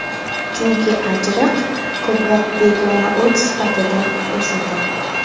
Chunki ajriq ko‘proq begona o‘t sifatida o‘sadi.